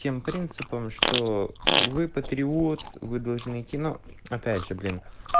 тем принципам что вы патриот вы должны идти ну опять же блин